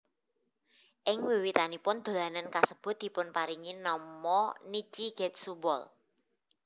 Ing wiwitanipun dolanan kasebut dipunparingi nama Nichi Getsu Ball